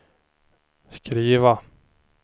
skriva